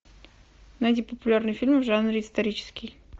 найди популярные фильмы в жанре исторический